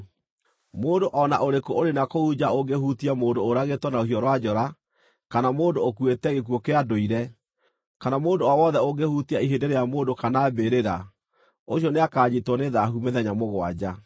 “Mũndũ o na ũrĩkũ ũrĩ na kũu nja ũngĩhutia mũndũ ũragĩtwo na rũhiũ rwa njora kana mũndũ ũkuĩte gĩkuũ kĩa ndũire, kana mũndũ o wothe ũngĩhutia ihĩndĩ rĩa mũndũ kana mbĩrĩra, ũcio nĩakanyiitwo nĩ thaahu mĩthenya mũgwanja.